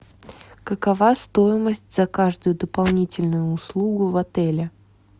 какова стоимость за каждую дополнительную услугу в отеле